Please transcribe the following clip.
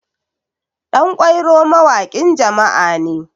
ɗankwairo mawakin jama'a ne